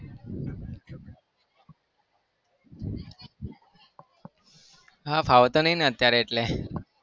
હા ફાવતું નહી ને અત્યારે એટલે